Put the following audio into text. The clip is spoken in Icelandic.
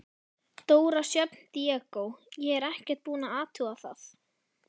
Dóra Sjöfn Diego: Ég er ekkert búin að athuga það?